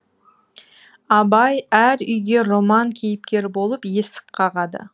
абай әр үйге роман кейіпкері болып есік қағады